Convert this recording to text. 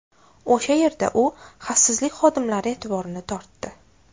O‘sha yerda u xavfsizlik xodimlari e’tiborini tortdi.